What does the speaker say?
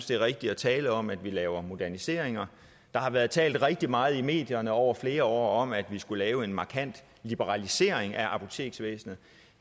det er rigtigt at tale om at vi laver moderniseringer der har været talt rigtig meget i medierne over flere år om at vi skulle lave en markant liberalisering af apoteksvæsenet